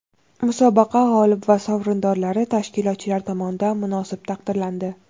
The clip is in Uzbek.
Musobaqa g‘olib va sovrindorlari tashkilotchilar tomonidan munosib taqdirlandi.